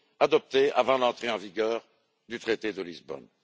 adoptés avant l'entrée en vigueur du traité de Lisbonne.